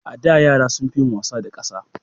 A da, yara sun fi yin wasa da ƙasa